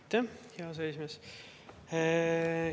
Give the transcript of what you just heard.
Aitäh, hea aseesimees!